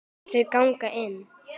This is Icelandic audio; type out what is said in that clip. Þau gengu inn.